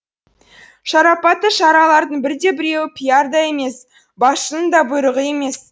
шарапатты шаралардың бірде біреуі пиар да емес басшының да бұйрығы емес